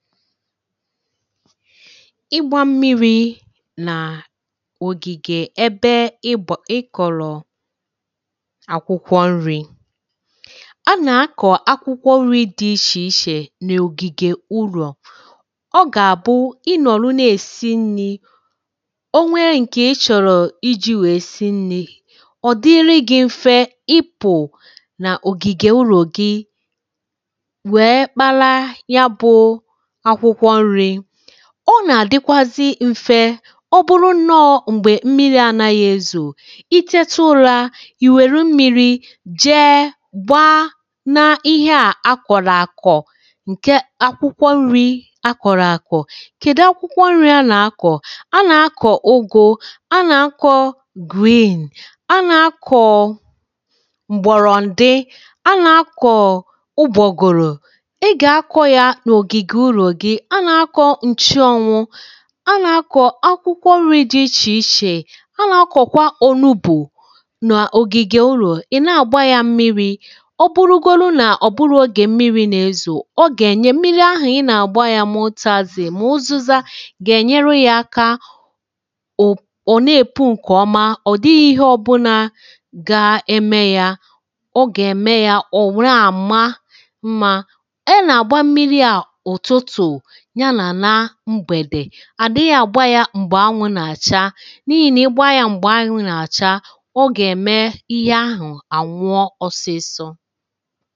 ịgbȧ mmiri̇ na ògìgè ebe ịbọ̀ ịkọ̀lọ̀ àkwụkwọ nri̇ a nà-akọ̀ akwụkwọ nri̇ dị ichè ichè nà ògìgè urù ọ gà-àbụ ị nọ̀rọ̀ na-èsi nri̇ o nwere ǹkè ị chọ̀rọ̀ iji̇ wèe si nri̇ ọ̀dịri gị̇ m̀fe ịpụ̇ nà ògìgè ụrọ̀ gị wèe kpara ya bụ̇ ọ nà-àdịkwazị m̀fe ọ bụrụ nnọọ̇ m̀gbè mmiri̇ anȧghị̇ ezù i chėtu̇ ụlȧ ìwèru mmiri̇ jee gbaa n’ihe à a kọ̀rọ̀ àkọ̀ ǹke akwụkwọ nri̇ a kọ̀rọ̀ àkọ̀ kède akwụkwọ nri̇ a nà-akọ̀ ụgụ a nà-akọ̀ griì a nà-akọ̀ m̀gbọ̀rọ̀ ǹdị a nà-akọ̀ ụbọ̀gụ̀rụ̀ a nà-akọ̀ nrị ǹchi ọnwụ̇ a nà-akọ̀ akwụkwọ nrị̇ dị̇ ichè ichè a nà-akọ̀kwa ònubù n’ògìgè ụlọ̀ ị̀ na-àgba yȧ mmiri̇ ọ bụrụgolụ nà ọ̀ bụrụ ogè mmiri̇ nà-ezò ọ gà-ènye mmiri ahụ̀ ị nà-àgba ya mote azị mọ̀ụzụza gà-ènyere ya aka ọ̀ ọ̀ na-èpù ǹkè ọma ọ̀ dịghị ihe ọbụlà ga-eme ya ọ gà-ème ya ọ̀ wụrụ àma mà àdịghị àgba ya m̀gbè anwụ̇ nà-àcha n’ihì nà ịgba ya m̀gbè anwụ̇ nà-àcha ọ gà-ème ihe ahụ̀ ànwụọ ọsịsọ